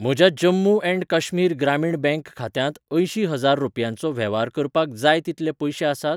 म्हज्या Jammu and Kashmir Grameen Bank खात्यांत अंयशीं हजार रुपयांचो वेव्हार करपाक जाय तितले पयशे आसात ?